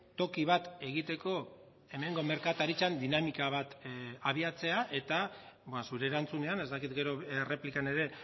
toki bat egiteko hemengo merkataritzan dinamika bat abiatzea eta zure erantzunean ez dakit gero erreplikan ere